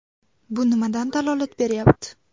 Bu nimadan dalolat beryapti?